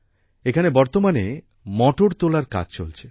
এখানে বর্তমানে মটর তোলার কাজ চলছে